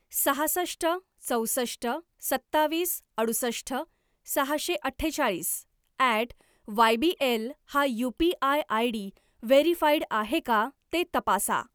सहासष्ट चौसष्ट सत्तावीस अडुसष्ट सहाशे अठ्ठेचाळीस ॲट वायबीएल हा यू.पी.आय. आयडी व्हेरीफाईड आहे का ते तपासा.